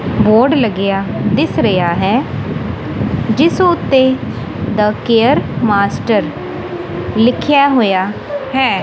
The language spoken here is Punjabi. ਬੋਰਡ ਲੱਗਿਆ ਦਿਸ ਰਿਹਾ ਹੈ ਜਿਸ ਉੱਤੇ ਦਾ ਕੇਅਰ ਮਾਸਟਰ ਲਿਖਿਆ ਹੋਇਆ ਹੈ।